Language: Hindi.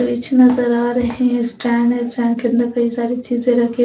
बीच नजर आ रहे हैं स्टैंड है स्टैंड के अंदर कई सारी चीजें रखी--